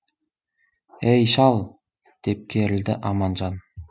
ей шал деп керілді аманжан